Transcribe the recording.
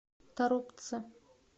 торопце